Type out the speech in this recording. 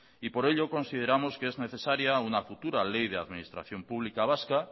por ello consideramos que es necesaria una futura ley de administración pública vasca